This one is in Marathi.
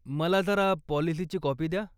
मला जरा पाॅलिसीची काॅपी द्या.